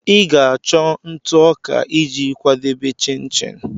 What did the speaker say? Ị ga-achọ ntụ ọka iji kwadebe chin-chin